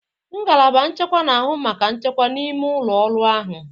Ngalaba nchekwa na-ahụ maka nchekwa n'ime ụlọ ọrụ ahụ.